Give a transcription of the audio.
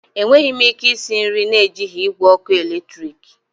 Enweghị m ike isi nri na-ejighi igwe ọkụ eletrik.